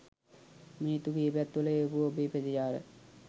මිනිත්තු කීපයක් තුළ එවපු ඔබේ ප්‍රතිචාර